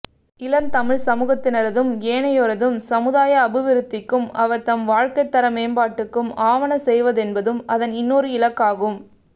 இளந்தமிழ்ச்சமூகத்தினரதும் ஏனையோரதும் சமுதாய அபிவிருத்திக்கும் அவர் தம் வாழ்க்கைத்தர மேம்பாட்டுக்கும் ஆவன செய்வதென்பதும் அதன் இன்னொரு இலக்காகும்